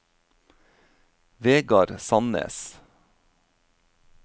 Vegard Sandnes